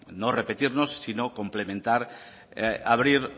no repetirnos sino complementar o abrir